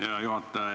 Hea juhataja!